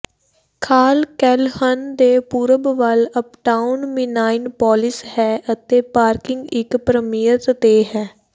ਖਾਲ ਕੈਲਹਨ ਦੇ ਪੂਰਬ ਵੱਲ ਅਪਟਾਉਨ ਮਿਨਾਈਨਪੋਲਿਸ ਹੈ ਅਤੇ ਪਾਰਕਿੰਗ ਇੱਕ ਪ੍ਰੀਮੀਅਮ ਤੇ ਹੈ